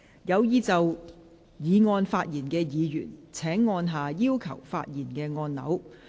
有意就議案發言的議員請按下"要求發言"按鈕。